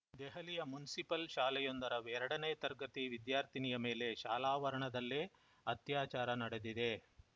ದೆಹಲಿಯ ಮುನ್ಸಿಪಲ್‌ ಶಾಲೆಯೊಂದರ ಎರಡನೇ ತರಗತಿ ವಿದ್ಯಾರ್ಥಿನಿಯ ಮೇಲೆ ಶಾಲಾವರಣದಲ್ಲೇ ಅತ್ಯಾಚಾರ ನಡೆದಿದೆ